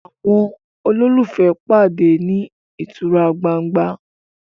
àwọn ololufee pàdé ní ìtura gbángba